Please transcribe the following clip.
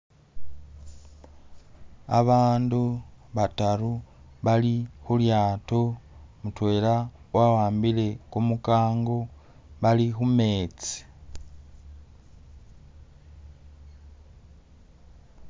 Abandu bataru bali khulyato mutwela wawambile kumukango bali khumetsi